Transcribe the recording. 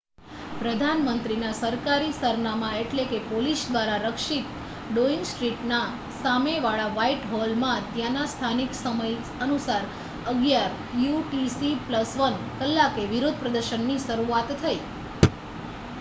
પ્રધાન મંત્રીના સરકારી સરનામા એટલે કે પોલીસ દ્વારા રક્ષિત ડોઈંગ સ્ટ્રીટ ના સામે વાળા વ્હાઇટ હોલમાં ત્યાંના સ્થાનિક સમય અનુસાર 11:00 યુ. ટી. સી.+1 કલાકે વિરોધ પ્રદર્શન ની શરૂઆત થઇ